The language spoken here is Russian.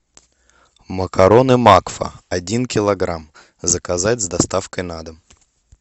макароны макфа один килограмм заказать с доставкой на дом